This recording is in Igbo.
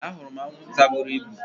Ahụrụ m anwụnta buru ibu